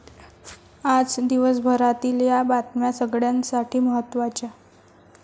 आज दिवसभरातील या बातम्या सगळ्यांसाठी महत्त्वाच्या